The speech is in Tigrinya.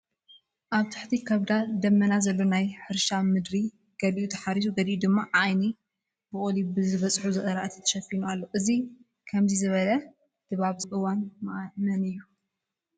ኣብ ትሕቲ ከበዳ ደመና ዘሎ ናይ ሕርሻ ምድሪ ገሊኡ ተሓሪሱ ገሊኡ ድማ ዓይኒ ቡቕሊ ብዝበፅሑ ዝራእቲ ተሸፊኑ ኣሎ፡፡ እዚ ከምዚ ዝበለ ድባብ ዘለዎ እዋን መን እዩ?